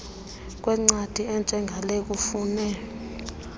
kwencwadi enjengale kufune